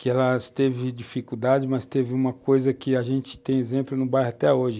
que ela teve dificuldades, mas teve uma coisa que a gente tem exemplo no bairro até hoje.